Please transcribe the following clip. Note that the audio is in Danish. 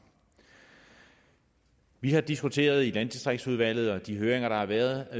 vi har diskuteret i landdistriktsudvalget og på de høringer der har været